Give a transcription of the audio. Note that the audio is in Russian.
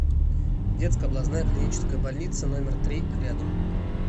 детская областная клиническая больница номер три рядом